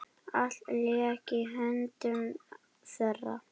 Allt lék í höndum þeirra.